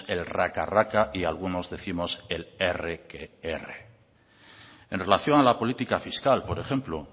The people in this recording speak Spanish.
el raca raca y algunos décimos el erre que erre en relación a la política fiscal por ejemplo